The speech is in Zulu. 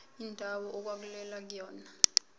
indawo okwakulwelwa kuyona